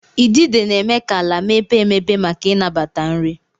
Idide na-eme ka ala mepee emepe maka ịnabata nri.